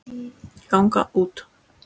ganga út